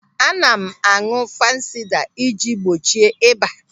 Ana m áñụ̀ fansida i ji gbochie ịba.